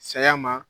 Saya ma